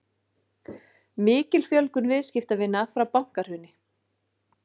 Mikil fjölgun viðskiptavina frá bankahruni